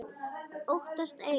Óttast ei.